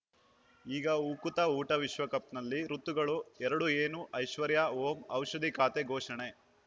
ಈಗ ಉಕುತ ಊಟ ವಿಶ್ವಕಪ್‌ನಲ್ಲಿ ಋತುಗಳು ಎರಡು ಏನು ಐಶ್ವರ್ಯಾ ಓಂ ಔಷಧಿ ಖಾತೆ ಘೋಷಣೆ